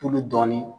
Tulu dɔɔnin